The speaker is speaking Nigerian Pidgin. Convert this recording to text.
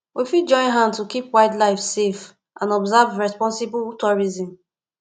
we fit join hand to keep wild life safe and observe responsible tourism